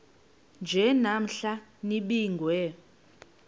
nje namhla nibingiwe